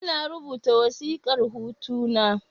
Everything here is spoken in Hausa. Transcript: Ina rubuta wasiƙar hutu na